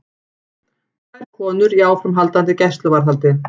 Tvær konur í áframhaldandi gæsluvarðhald